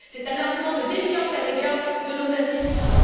C'est un argument de défiance à l'égard de nos institutions.